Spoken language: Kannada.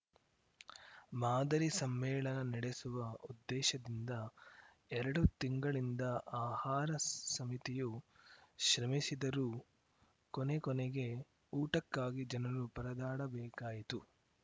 ಮಾದರಿ ಸಮ್ಮೇಳನ ನಡೆಸುವ ಉದ್ದೇಶದಿಂದ ಎರಡು ತಿಂಗಳಿಂದ ಆಹಾರ ಸಮಿತಿಯು ಶ್ರಮಿಸಿದರೂ ಕೊನೆಕೊನೆಗೆ ಊಟಕ್ಕಾಗಿ ಜನರು ಪರದಾಡಬೇಕಾಯಿತು